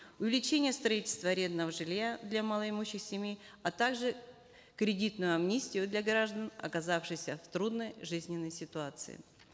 увеличения строительства арендного жилья для малоимущих семей а также кредитную амнистию для граждан оказавшихся в трудной жизненной ситуации